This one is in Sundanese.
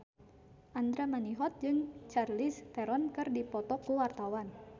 Andra Manihot jeung Charlize Theron keur dipoto ku wartawan